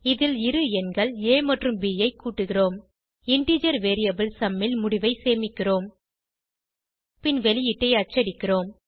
இதில் இரு எண்கள் ஆ மற்றும் ப் ஐ கூட்டுகிறோம் இன்டிஜர் வேரியபிள் சும் ல் முடிவை சேமிக்கிறோம் பின் வெளியீட்டை அச்சடிக்கிறோம்